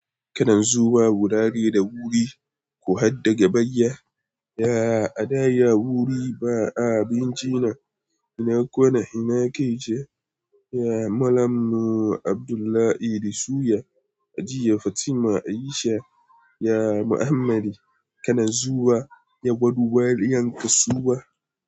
Kanan zuwa wurare da wuri, ku haddaga bayya. Ya, a da ya wuri ba a abinci na. Ina kona, ina ke ce? Ya Malamu Abdullah Idi suya, a jiya Fatima Aisha, ya Muhammadu, kanan zuwa, ya gudu wariyan kasuwa.